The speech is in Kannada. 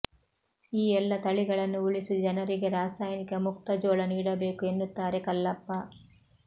ಈ ಎಲ್ಲ ತಳಿಗಳನ್ನು ಉಳಿಸಿ ಜನರಿಗೆ ರಾಸಾಯನಿಕ ಮುಕ್ತ ಜೋಳ ನೀಡಬೇಕು ಎನ್ನುತ್ತಾರೆ ಕಲ್ಲಪ್ಪ